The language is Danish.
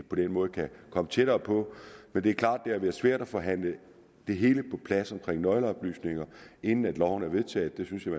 på den måde kan komme tættere på men det er klart at været svært at forhandle det hele på plads omkring nøgleoplysninger inden loven er vedtaget det synes jeg